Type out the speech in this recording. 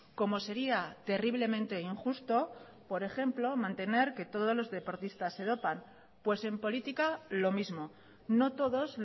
como sería terriblemente injusto por ejemplo mantener que todos los deportistas se dopan pues en política lo mismo no todos